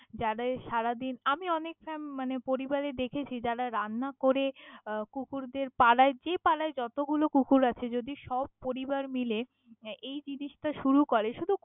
যাদের সারাদিন আমি অনেক ফ্রাম মানে পরিবার এ দেখেছি যারা রান্না করে আহ কুকুরদের পাড়ায় যে পাড়ায় যত গুলো কুকুর আছে যদি সব পরিবার মিলে এই জিনিস টা শুরু করে সুদু।